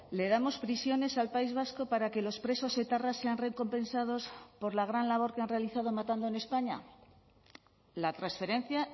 le damos prisiones al país vasco para que los presos etarras sean recompensados por la gran labor que han realizado matando en españa la transferencia